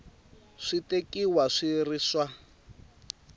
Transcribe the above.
swi tekiwa swi ri swa